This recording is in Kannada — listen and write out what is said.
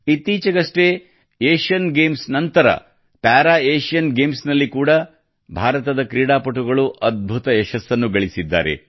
ಇತ್ತೀಚಿಗಷ್ಟೇ ಏಷ್ಯನ್ ಗೇಮ್ಸ್ ನಂತರ ಪ್ಯಾರಾ ಏಷ್ಟನ್ ಗೇಮ್ಸ್ ನಲ್ಲಿ ಕೂಡಾ ಭಾರತದ ಕ್ರೀಡಾಪಟುಗಳು ಅದ್ಭುತ ಯಶಸ್ಸನ್ನು ಗಳಿಸಿದ್ದಾರೆ